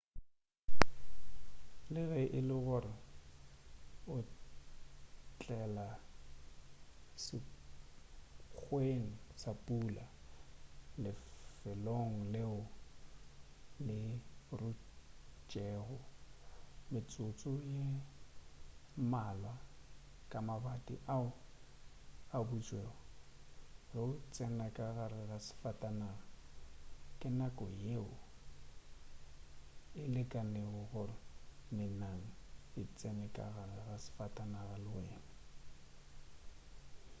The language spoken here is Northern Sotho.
le ge e le gore o otlela sekgweng sa pula lefelong leo le rutšego metsotso ye mmalwa ka mabati ao a butšwego ge o tsena ka gare ga safatanaga ke nako yeo e lekanego ya gore menang e tsene ka gare ga safatanaga le wena